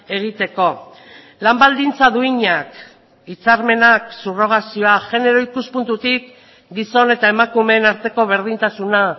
egiteko lan baldintza duinak hitzarmenak subrogazioa genero ikuspuntutik gizon eta emakumeen arteko berdintasuna